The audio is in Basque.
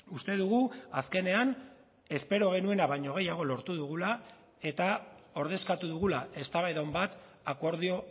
uste dugu azkenean espero genuena baino gehiago lortu dugula eta ordezkatu dugula eztabaida on bat akordio